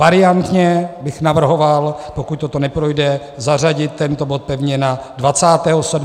Variantně bych navrhoval, pokud toto neprojde, zařadit tento bod pevně na 27. září jako první bod.